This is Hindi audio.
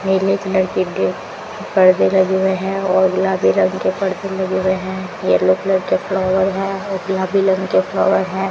नीले कलर के पर्दे लगे हुए है और गुलाबी रंग के पर्दे लगे हुए हैं येलो कलर के फ्लावर है और गुलाबी रंग के फ्लावर हैं।